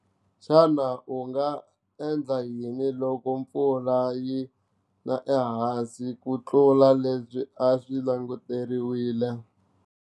Xana u nga endla yini loko mpfula yi na ehansi ku tlula lebyi a swi languteriwile.